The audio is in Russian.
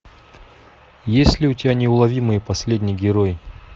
есть ли у тебя неуловимые последний герой